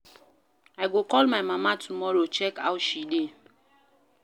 I go call my mama tomorrow check how she dey.